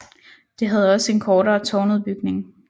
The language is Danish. Det havde også en kortere tårnudbygning